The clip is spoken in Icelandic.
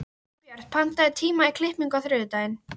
Elínbjört, pantaðu tíma í klippingu á þriðjudaginn.